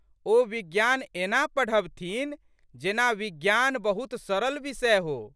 ओ विज्ञान एना पढ़बथिन जेना विज्ञान बहुत सरल विषय हो।